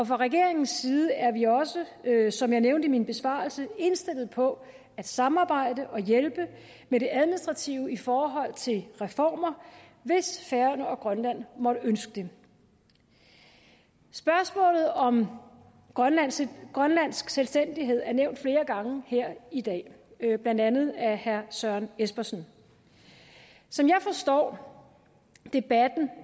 fra regeringens side er vi også som jeg nævnte i min besvarelse indstillet på at samarbejde og hjælpe med det administrative i forhold til reformer hvis færøerne og grønland måtte ønske det spørgsmålet om grønlandsk grønlandsk selvstændighed er nævnt flere gange her i dag blandt andet af herre søren espersen som jeg forstår debatten